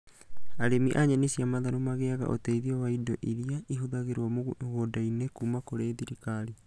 Arĩmi a nyeni cia matharũ magĩaga ũteithio wa indo iria ihũthagĩrũo mũgũnda-inĩ kuma kũri thirikarĩ